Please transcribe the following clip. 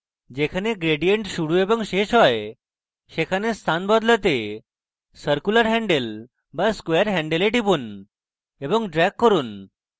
যেখানে gradient শুরু এবং শেষ হয় সেখানে স্থান বদলাতে circular handle বা square handle এ টিপুন এবং drag করুন